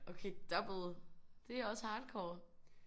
Okay double. Det er også hardcore